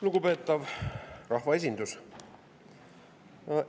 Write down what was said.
Lugupeetav rahvaesindus!